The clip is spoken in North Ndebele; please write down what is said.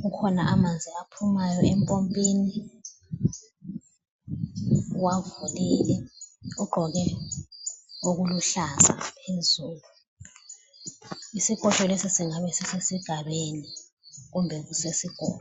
Kukhona amanzi aphumayo empompini, uwavulele ugqoke okuluhlaza phezulu. Isikotsho lesi singabe sisesigabeni kumbe kusesikolo.